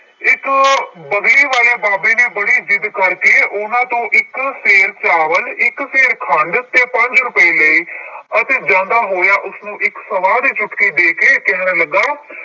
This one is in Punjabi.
ਇੱਕ ਬਗਲੀ ਵਾਲੇ ਬਾਬੇ ਨੇ ਬੜੀ ਜਿੱਦ ਕਰਕੇ ਉਹਨਾਂ ਤੋਂ ਇੱਕ ਸੇਰ ਚਾਵਲ, ਇੱਕ ਸੇਰ ਖੰਡ ਤੇ ਪੰਜ ਰੁਪਏ ਲਏ ਅਤੇ ਜਾਂਦਾ ਹੋਇਆ ਉਸਨੂੰ ਇੱਕ ਸਵਾਹ ਦੀ ਚੁਟਕੀ ਦੇ ਕੇ ਕਹਿਣ ਲੱਗਾ